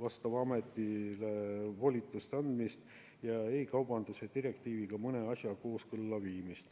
vastavale ametile volituste andmist ning e-kaubanduse direktiiviga mõne asja kooskõlla viimist.